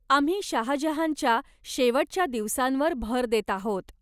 आम्ही शाहजहानच्या शेवटच्या दिवसांवर भर देत आहोत.